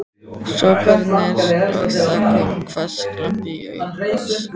hrópanir og það kom hvass glampi í augu hans.